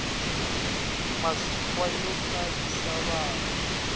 mazukwa yo hlayisa vana